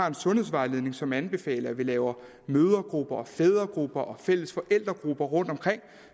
en sundhedsvejledning som anbefaler at vi laver mødregrupper og fædregrupper og fælles forældregrupper rundtomkring